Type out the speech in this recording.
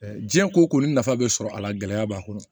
diɲɛ ko ko nafa bɛ sɔrɔ a la gɛlɛya b'a kɔnɔ